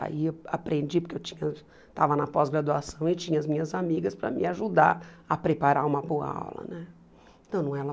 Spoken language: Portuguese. Aí eu aprendi, porque eu tinha estava na pós-graduação e tinha as minhas amigas para me ajudar a preparar uma boa aula né. Então não ela